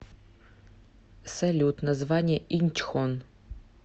салют название инчхон